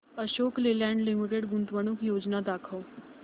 Ashok Leyland limited गुंतवणूक योजना दाखव